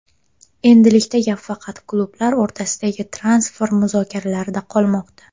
Endilikda gap faqat klublar o‘rtasidagi transfer muzokaralarida qolmoqda.